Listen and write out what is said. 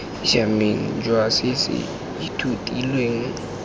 siameng jwa se se ithutilweng